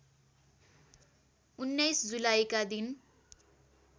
१९ जुलाईका दिन